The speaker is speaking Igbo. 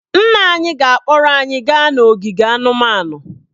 Nna anyị ga-akpọrọ anyị gaa n'ogige anụmanụ